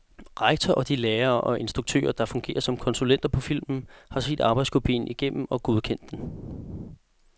Rektor og de lærere og instruktører, der fungerer som konsulenter på filmen, har set arbejdskopien igennem og godkendt den.